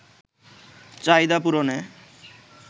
চাহিদা পূরণে